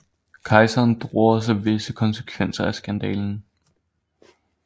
Kejseren drog også visse konsekvenser af skandalen